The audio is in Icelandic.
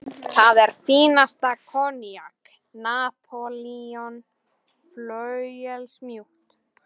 Það var fínasta koníak: Napóleon, flauelsmjúkt.